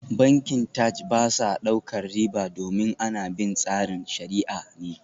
Bankin Taj ba sa daukar riba domin ana bin tsarin shariah ne